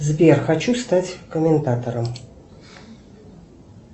сбер хочу стать комментатором